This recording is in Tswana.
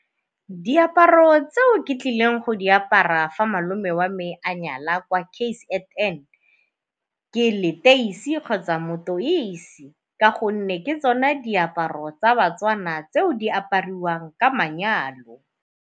Diaparo tseo ke tlileng go di apara fa malome wa me a nyala kwa K_Z_N ke leteisi kgotsa motoise ka gonne ke tsone diaparo tsa baTswana tseo di apariwang ka manyalo.